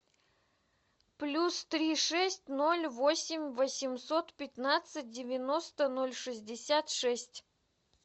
плюс три шесть ноль восемь восемьсот пятнадцать девяносто ноль шестьдесят шесть